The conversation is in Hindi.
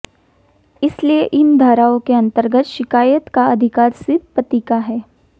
इसलिए इन धाराओं के अंतर्गत शिकायत का अधिकार सिर्फ पति का है